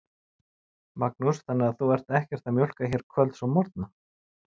Magnús: Þannig að þú ert ekkert að mjólka hér kvölds og morgna?